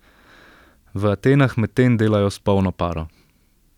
V Atenah medtem delajo s polno paro.